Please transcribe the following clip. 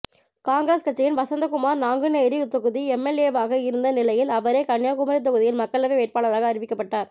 காங்கிரஸ் கட்சியின் வசந்தகுமார் நாங்குநேரி தொகுதி எம்எல்ஏவாக இருந்த நிலையில் அவரே கன்னியாகுமரி தொகுதியில் மக்களவை வேட்பாளராக அறிவிக்கப்பட்டார்